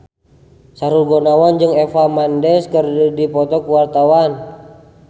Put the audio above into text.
Sahrul Gunawan jeung Eva Mendes keur dipoto ku wartawan